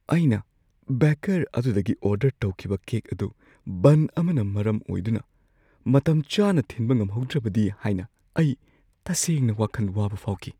ꯑꯩꯅ ꯕꯦꯀꯔ ꯑꯗꯨꯗꯒꯤ ꯑꯣꯔꯗꯔ ꯇꯧꯈꯤꯕ ꯀꯦꯛ ꯑꯗꯨ ꯕꯟ ꯑꯃꯅ ꯃꯔꯝ ꯑꯣꯏꯗꯨꯅ ꯃꯇꯝꯆꯥꯅ ꯊꯤꯟꯕ ꯉꯝꯍꯧꯗ꯭ꯔꯕꯗꯤ ꯍꯥꯏꯅ ꯑꯩ ꯇꯁꯦꯡꯅ ꯋꯥꯈꯟ ꯋꯥꯕ ꯐꯥꯎꯈꯤ ꯫